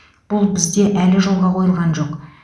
бұл бізде әлі жолға қойылған жоқ